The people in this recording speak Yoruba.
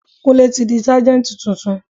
Kúnlé tí di Sájẹ́ntì tuntun.